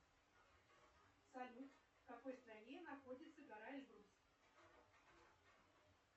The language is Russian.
салют в какой стране находится гора эльбрус